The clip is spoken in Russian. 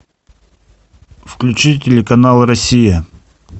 включи телеканал россия